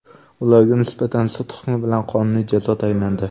Ularga nisbatan sud hukmi bilan qonuniy jazo tayinlandi.